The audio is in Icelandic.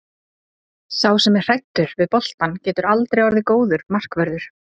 Sá sem er hræddur við boltann getur aldrei orðið góður markvörður.